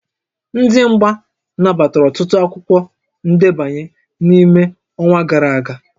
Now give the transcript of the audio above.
Ndị mgba nabatara ọtụtụ akwụkwọ ndebanye n'ime ọnwa gara aga